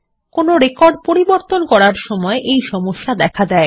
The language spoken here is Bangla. কোনো রেকর্ড পরিবর্তন করার সময় এই সমস্যা দেখা দেয়